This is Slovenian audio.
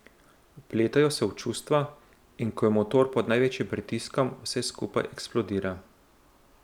Vpletajo se čustva in ko je motor pod največjim pritiskom, vse skupaj eksplodira.